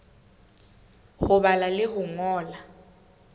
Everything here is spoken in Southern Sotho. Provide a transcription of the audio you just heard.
ho bala le ho ngola